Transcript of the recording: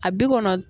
A bi kɔnɔn